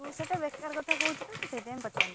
ତୁ ସେଇଟା ବେକାର କଥା କହୁଥୁଲୁ ମୁଁ ସେଥିପାଇଁ ପଚାରିଲିନି।